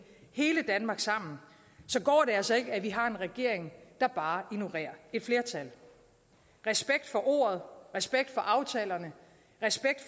hele danmark sammen så går det altså ikke at vi har en regering der bare ignorerer et flertal respekt for ordet respekt for aftalerne